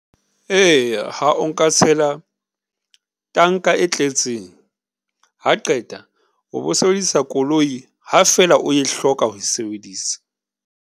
Eya, ha o nka tshela tanka e tletseng, ha qeta o bo sebedisa koloi ha fela o e hloka ho e sebedisa.